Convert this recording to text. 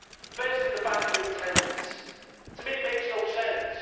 Firstly, the banning of tens. To me it makes no sense.